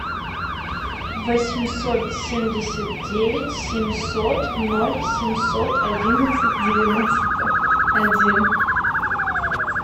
восемьсот семьдесят девять семьсот ноль семьсот одиннадцать девяносто один